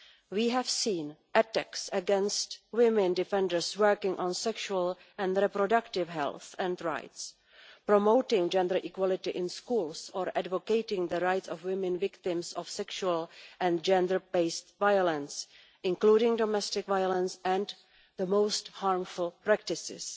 We have seen attacks against women defenders working on sexual and reproductive health and rights, promoting gender equality in schools or advocating for the rights of women victims of sexual and gender based violence, including domestic violence, and the most harmful practices.